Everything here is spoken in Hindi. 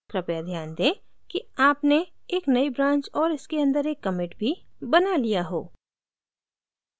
कृपया ध्यान दें कि आपने एक नयी branch और इसके अंदर एक commit भी बना लिया हो